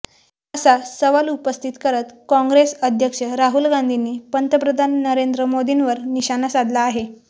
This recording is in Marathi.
असा सवाल उपस्थित करत काँग्रेस अध्यक्ष राहुल गांधींनी पंतप्रधान नरेंद्र मोदींवर निशाणा साधला आहे